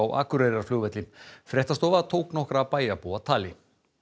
Akureyrarflugvelli fréttastofa tók nokkra bæjarbúa tali